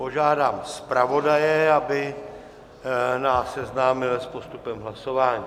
Požádám zpravodaje, aby nás seznámil s postupem hlasování.